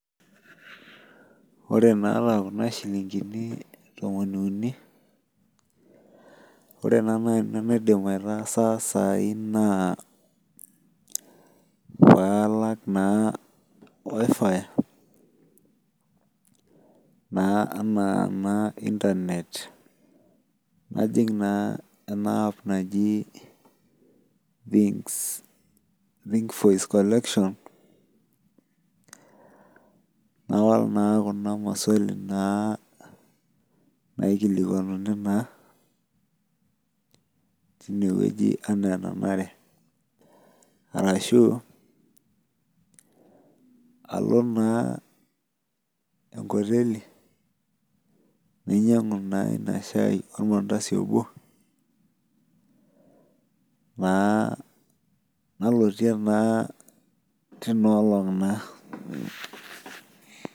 Ore naata kunabshilingini tomoniuni ,ore na nanu enaidim aitaasa sai na paalak na wifi na ana internet najing ena app naji think voice collection nalak na kuna maswali na naikilikuanuni taa tinewueji ana enanare arashu alo naenkoteli nainyangu inashai ormantasi obo nalotie na tinaolong naa.